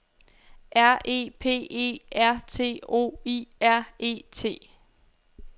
R E P E R T O I R E T